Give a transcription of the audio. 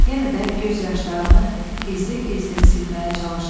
Yenə də göz yaşlarını gizlin-gizlin silməyə çalışdı.